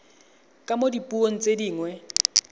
ka mo dipuong tse dingwe